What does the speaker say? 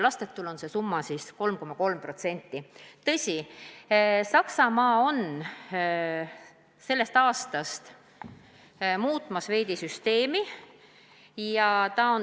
Tõsi, Saksamaa peaks sellest aastast seda süsteemi veidi muutma.